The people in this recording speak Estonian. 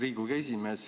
Riigikogu esimees!